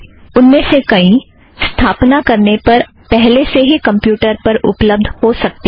उनमें से कई स्थापना करने पर पहले से ही उपलब्ध हो सकतीं हैं